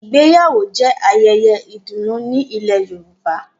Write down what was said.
Ìgbéyàwó jẹ ayẹyẹ ìdùnnú ni ilẹ̀ Yorùbá.